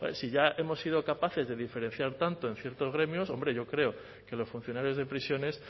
si ya hemos sido capaces de diferenciar tanto en ciertos gremios hombre yo creo que los funcionarios de prisiones